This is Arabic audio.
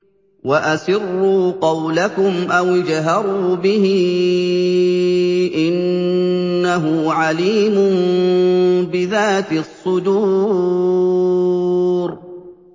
وَأَسِرُّوا قَوْلَكُمْ أَوِ اجْهَرُوا بِهِ ۖ إِنَّهُ عَلِيمٌ بِذَاتِ الصُّدُورِ